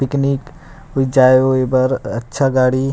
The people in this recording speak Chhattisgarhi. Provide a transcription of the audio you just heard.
पिकनिक जाए ओए बर अच्छा गाड़ी --